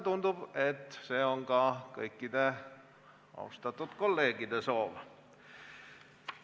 Tundub, et see on ka kõikide austatud kolleegide soov.